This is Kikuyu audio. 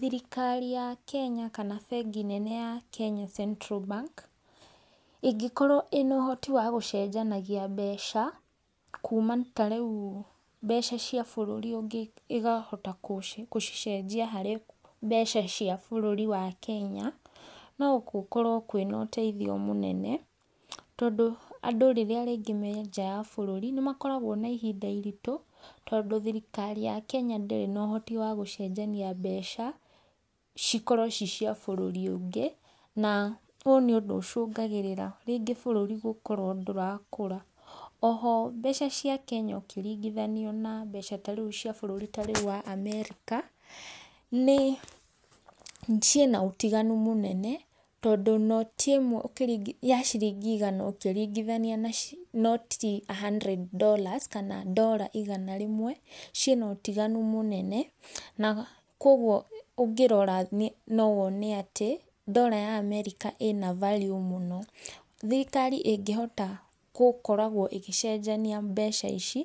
Thirikari ya kenya kana bengi nene ya kenya central bank, ĩngĩkorwo ina ũhoti wa gũcenjanagia mbeca kuma tarĩu mbeca cia bũrũri ũngĩ ikahota gũcicenjia harĩ mbeca cia bũrũri wa kenya no gũkorwo kwĩ na ũteithio mũnene tondu andũ rĩrĩa rĩngĩ me nja wa bũrũri nĩmakoragwo na ihinda iritũ tondũ thirikari ya kenya ndĩrĩ na uhoti wa gũcenjania mbeca cikorwo cicia bũrũri ũngĩ na ũ nĩũndũ ũcũngagĩrĩra rĩngĩ bũrũri gukorwo ndũrakũra. Oho mbeca cia kenya ũkĩringithania na mbeca tarĩu cia bũrũri tarĩu wa Amerika nĩ ciĩna ũtiganu mũnene, tondũ noti imwe ya ciringi igana ũkĩringithania na noti a hundred dollars kana ndora igana rĩmwe, ciĩna ũtiganu mũnene na koguo ũngĩrora no wone atĩ, ndora ya Amerika ina value mũno. Thirikari ĩngĩhota gũkoragwo ĩgĩcenjania mbeca ici